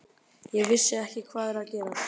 Ég vissi ekki hvað var að gerast.